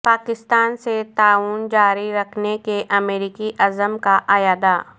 پاکستان سے تعاون جاری رکھنے کے امریکی عزم کا اعادہ